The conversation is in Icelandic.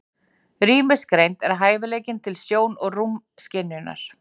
Rýmisgreind er hæfileikinn til sjón- og rúmskynjunar.